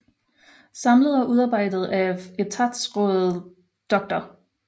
Samlet og udarbejdet af Etatsraad Dr